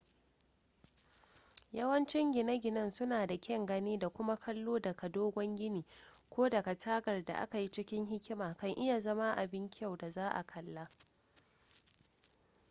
yawancin gine-ginen suna da kyan gani da kuma kallo daga dogon gini ko daga tagar da aka yi cikin hikima kan iya zama abin kyau da za a kalla